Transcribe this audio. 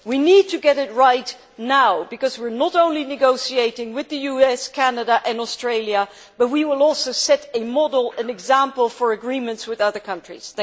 We need to get it right now, because we are not only negotiating with the US, Canada and Australia, but also setting a model and example for agreements with other countries.